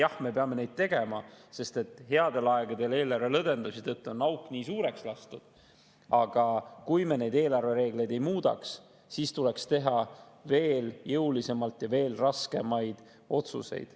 Jah, me peame neid tegema, sest headel aegadel eelarve lõdvendamise tõttu on auk nii suureks lastud, aga kui me neid eelarvereegleid ei muudaks, siis tuleks teha veel jõulisemalt ja veel raskemaid otsuseid.